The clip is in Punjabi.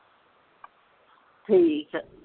ਠੀਕ ਆ